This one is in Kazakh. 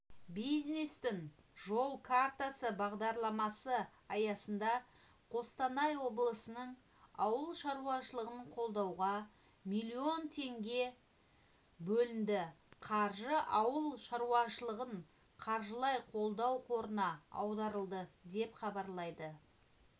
бизнестің жол картасыбағдарламасы аясында қостанай облысының ауыл шаруашылығын қолдауға млн теңге бөлінді қаржы ауыл шаруашылығын қаржылай қолдау қорына аударылды деп хабарлайды